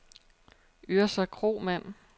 Yrsa Kromann